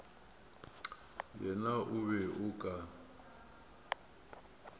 yena o be o ka